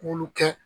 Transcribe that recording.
Mulu kɛ